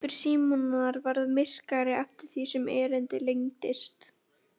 Svipur Símonar varð myrkari eftir því sem erindið lengdist.